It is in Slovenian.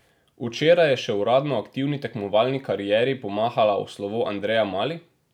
Včeraj je še uradno aktivni tekmovalni karieri pomahala v slovo Andreja Mali?